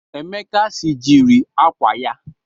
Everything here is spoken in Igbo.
Emeka sijiri akwa ya.